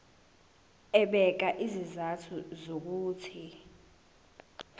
ebeka izizathu zokuthi